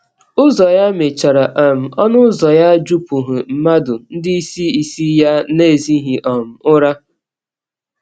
Ụzọ ya mechara, um ọnụ ụzọ ya jupụghị mmadụ, ndị isi isi ya na-ezighị um ụra.